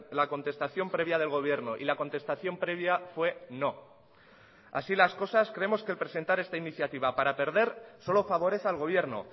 la contestación previa del gobierno y la contestación previa fue no así las cosas creemos que el presentar esta iniciativa para perder solo favorece al gobierno